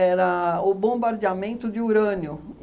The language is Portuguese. era o bombardeamento de urânio.